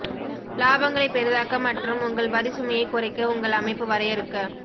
இலாபங்களை பெரிதாக்க மற்றும் உங்கள் வரி சுமையை குறைக்க உங்கள் அமைப்பு வரையறுக்க